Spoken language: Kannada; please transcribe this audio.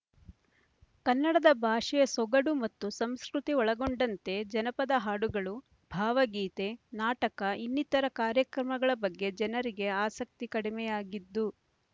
ಕನ್ನಡದ ಭಾಷೆಯ ಸೊಗಡು ಮತ್ತು ಸಂಸ್ಕೃತಿ ಒಳಗೊಂಡಂತೆ ಜನಪದ ಹಾಡುಗಳು ಭಾವಗೀತೆ ನಾಟಕ ಇನ್ನಿತರ ಕಾರ್ಯಕ್ರಮಗಳ ಬಗ್ಗೆ ಜನರಿಗೆ ಆಸಕ್ತಿ ಕಡಿಮೆಯಾಗಿದ್ದು